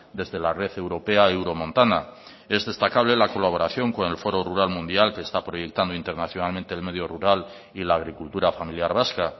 desde la red europea euromontana es destacable la colaboración con el foro rural mundial que está proyectando internacionalmente el medio rural y la agricultura familiar vasca